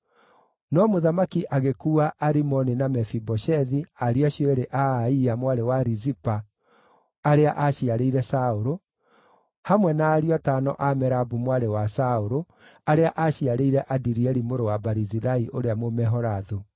No mũthamaki agĩkuua Arimoni na Mefiboshethu, ariũ acio eerĩ a Aia, mwarĩ wa Rizipa, arĩa aaciarĩire Saũlũ, hamwe na ariũ atano a Merabu mwarĩ wa Saũlũ, arĩa aaciarĩire Adirieli mũrũ wa Barizilai ũrĩa Mũmeholathu;